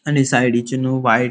आणि सायडींची नु व्हाइट --